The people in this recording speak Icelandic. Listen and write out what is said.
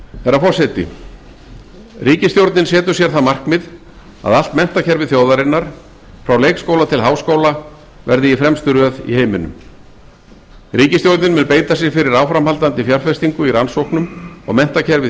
herra forseti ríkisstjórnin setur sér það markmið að allt menntakerfi þjóðarinnar frá leikskóla til háskóla verði í fremstu röð í heiminum ríkisstjórnin mun beita sér fyrir áframhaldandi fjárfestingu í rannsóknum og menntakerfi